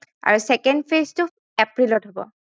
আৰু second phase টো april ত হব